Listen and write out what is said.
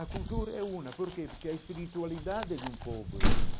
A cultura é uma, porque porque a espiritualidade de um povo é uma.